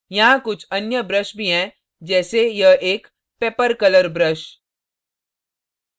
यहाँ कुछ अन्य brush भी हैं जैसे यह एक pepper pepper color brush